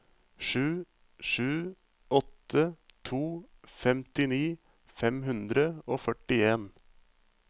sju sju åtte to femtini fem hundre og førtien